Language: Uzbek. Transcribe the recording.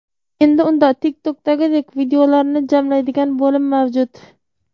Endi unda TikTok’dagidek videolarni jamlaydigan bo‘lim mavjud.